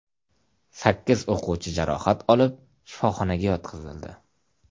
Sakkiz o‘quvchi jarohat olib, shifoxonaga yotqizildi.